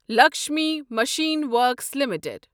Lakshmi machine works limited